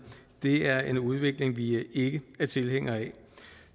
det er en udvikling vi ikke er tilhængere af